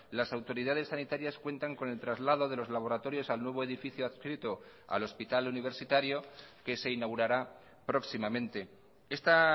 las autoridades sanitarias cuentan con el traslado de los laboratorios al nuevo edificio adscrito al hospital universitario que se inaugurará próximamente esta